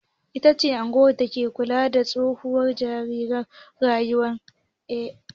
"NPA" ita ce ƙungiyar dake kula da tashoshin jiragen ruwa a Najeriya.